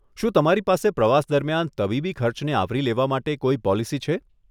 શું તમારી પાસે પ્રવાસ દરમિયાન તબીબી ખર્ચને આવરી લેવા માટે કોઈ પોલિસી છે?